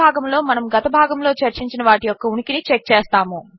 ఈ భాగములో మనము గత భాగములో చర్చించిన వాటి యొక్క ఉనికిని చెక్ చేస్తాము